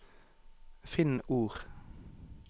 Finn ord